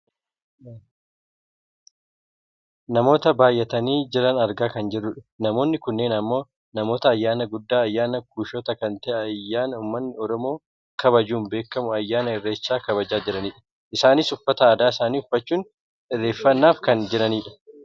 Namoota baayyatanii jiran argaa kan jirrudha. Namoonni kunneen ammoo namoota ayyaana guddaa ayyaana kuushotaa kan ta'e ayyaana uummatni Oromoo kabajuun beekamu ayyaana Irreechaa kabajaa jiranidha. Isaanis uffata aadaa isaanii uffachuun irreeffannaaf kan jiranidha.